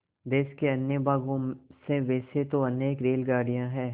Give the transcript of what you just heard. देश के अन्य भागों से वैसे तो अनेक रेलगाड़ियाँ हैं